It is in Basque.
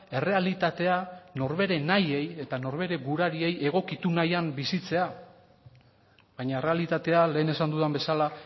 errealitatea nor bere nahiei eta nor bere gurariei egokitu nahian bizitzea baina errealitatea lehen esan dudan bezala